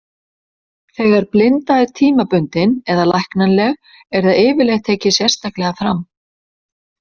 Þegar blinda er tímabundin eða læknanleg er það yfirleitt tekið sérstaklega fram.